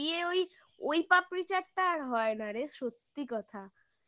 বেরিয়ে ওই ওই পাপড়ি চাটটা আর হয় না রে সত্যি কথা